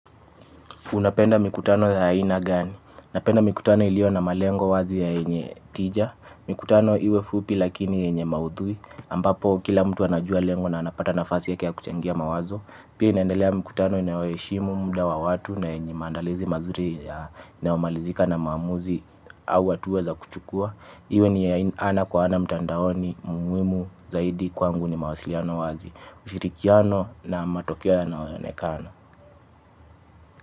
Unapenda mikutano ya haina gani? Unapenda mikutano ilio na malengo wazi ya enye tija. Mikutano iwe fupi lakini enye mauthui. Ampapo kila mtu anajua lengo na anapata nafasi yake ya kuchangia mawazo. Pia inaendelea mikutano inaweishimu mda wa watu na enye mandalizi mazuri ya inaomalizika na maamuzi au watuweza kuchukua. Iwe ni ana kwa ana mtandaoni muwimu zaidi kwangu ni mawasiliano wazi. Ushirikiano na matokeo yanaonekana.